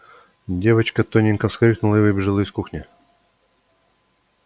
девочка тоненько вскрикнула и выбежала из кухни